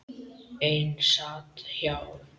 Einn sat hjá.